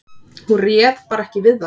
Hún réð bara ekki við það.